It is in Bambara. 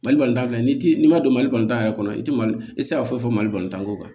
Mali palantan filɛ n'i tɛ n'i ma don mali yɛrɛ kɔnɔ i tɛ mali i tɛ se ka foyi fɔ mali tan ko kan